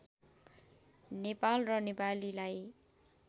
नेपाल र नेपालीलाई